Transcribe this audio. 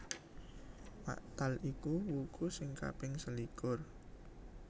Maktal iku wuku sing kaping selikur